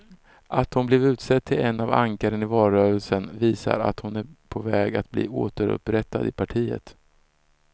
Att hon blivit utsedd till ett av ankaren i valrörelsen visar att hon är på väg att bli återupprättad i partiet.